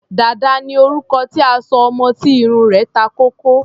Dàda ni orúkọ tí a sọ ọmọ tí irun rẹ̀ ta kókó.